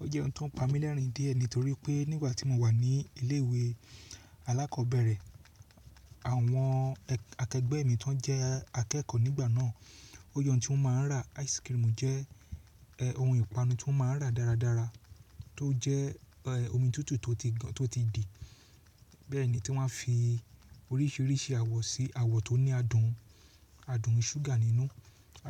O jẹ́ ohun tó ń pa mí lẹ́rìn diẹ nitorí pé nígbà tí mo wà ní ilé ìwé alákọ̀ọ́bẹ̀rẹ̀, àwọn akẹgbẹ́ mi tó n jẹ́ akẹ́kọ̀ọ́ nígbà náà, ó je oun tí wọ́n má ń rà ice cream jẹ́ ohun ìpanu tí wọ́n má ń rà dáradára tó jẹ́ omi tútù tó ti di, bẹ́ẹ̀ ni tí wọ́n fi oríṣiríṣi àwọ̀ sí, àwọ̀ tó ní adùn, adùn ṣúgà nínú,